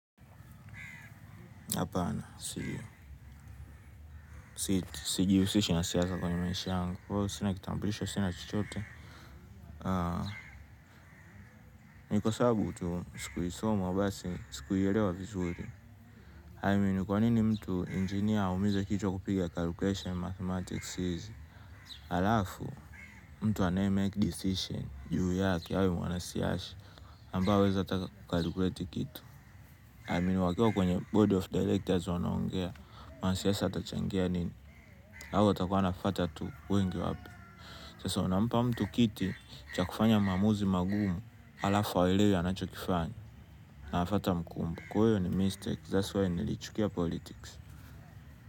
Hapana, sijihusishi na siasa kwenye maisha yangu. Sina kitambulisho, sina chochote. Ni kwa sababi tu kuisoma basi sikuielewa vizuri I mean, kwa nini mtu engineer aumize kichwa kupiga calculation mathematics siwezi. Halafu mtu anaye make decision juu take awe mwana siasa. Mpa weza ta calculate kitu. I mean, wakiwa kwenye body of directors wanaongea. Mwana siasa atachangia nini. Lago takuwa nafata tu uwingi wabi sasa onampa mtu kiti chakufanya mamuzi magumu ala fawelewe anachokifany naafata mkumbu kwewe ni mistake. That's why nilichukia politics.